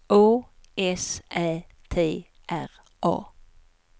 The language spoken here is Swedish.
Å S Ä T R A